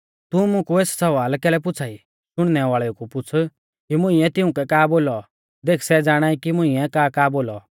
तू मुकु एस सवाल कैलै पुछ़ा ई शुणनै वाल़ेउ कु पुछ़ कि मुंइऐ तिउंकै का बोलौ देख सै ज़ाणाई की मुंइऐ काका बोलौ